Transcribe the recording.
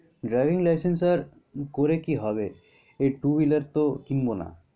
driving licence আর করে কি হবে? এই two-wheeler তো কিনবো না।